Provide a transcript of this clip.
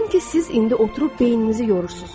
Yəqin ki, siz indi oturub beyninizi yorursunuz.